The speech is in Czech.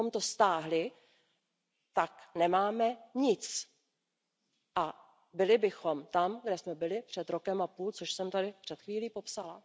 Kdybychom to stáhli, tak nemáme nic a byli bychom tam, kde jsme byli před rokem a půl, což jsem tady před chvílí popsala.